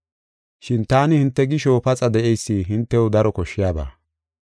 Shin taani hinte gisho paxa de7eysi hintew daro koshshiyaba.